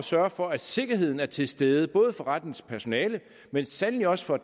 sørge for at sikkerheden er til stede både for rettens personale men sandelig også for